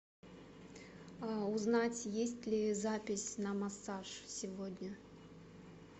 узнать есть ли запись на массаж сегодня